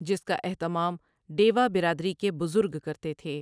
جس کا اہتمام ڈیوا برادری کے بزرگ کرتے تھے ۔